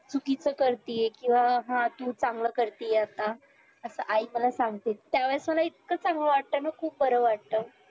चुकीचं करतीय किंवा हा तू चांगलं करतेय आता असं आई मला सांगतेच त्यावेळीस मला इतकं चांगलं वाटत ना खुप बरं वाटत